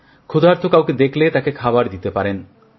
ক্ষুধার্ত কাউকে দেখলে তাকে খাবার দিতে পারেন